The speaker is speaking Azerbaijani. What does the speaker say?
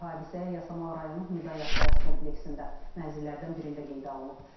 Hadisə Yasamal rayonu Mida yaşayış kompleksində mənzillərdən birində qeydə alınıb.